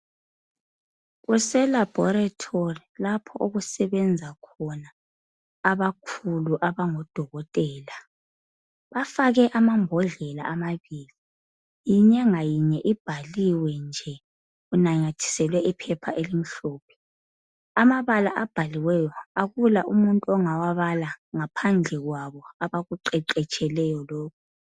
Kuselabhoritori lapho okusebenza khona abakhulu abangodokotela. Bafake amambodlela amabili inye ngayinye ibhaliwe nje inanyathiselwe iphepha elimhlophe. Amabala abhaliweyo akula umuntu ongawabala ngaphandle kwabo abakuqeqetsheleyo lokhu.